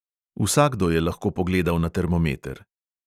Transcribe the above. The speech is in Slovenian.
Vsakdo je lahko pogledal na termometer.